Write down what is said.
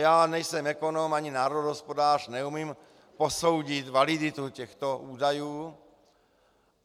Já nejsem ekonom ani národohospodář, neumím posoudit validitu těchto údajů.